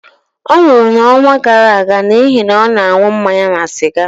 ọ nwụrụ n'ọnwa gara aga n'ihi na ọ na-aṅụ mmanya na siga